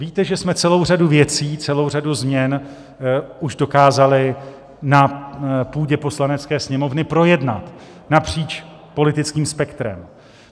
Víte, že jsme celou řadu věcí, celou řadu změn už dokázali na půdě Poslanecké sněmovny projednat napříč politickým spektrem.